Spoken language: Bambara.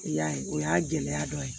I y'a ye o y'a gɛlɛya dɔ ye